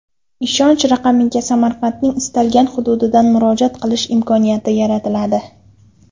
Ishonch raqamiga Samarqandning istalgan hududidan murojaat qilish imkoniyati yaratiladi.